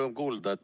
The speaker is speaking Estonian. Rõõm kuulda.